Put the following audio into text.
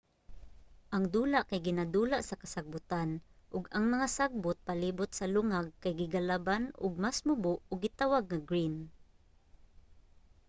ang dula kay ginadula sa kasagbutan ug ang mga sagbot palibut sa lungag kay gigalaban og mas mubo ug gitawag nga green